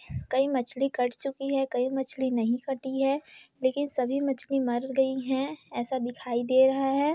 कई मछली कट चुकी है कई मछली नही कटी है लेकिन सभी मछली मर गयी है ऐसा दिखाई दे रहा है।